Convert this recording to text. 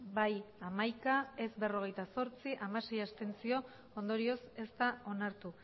bai hamaika ez berrogeita zortzi abstentzioak hamasei ondorioz ez da onartu